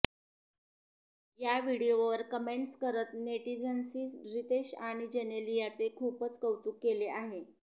या व्हिडिओवर कमेंटस करत नेटिझन्सनी रितेश आणि जेनेलियाचे खूपच कौतुक केले आहे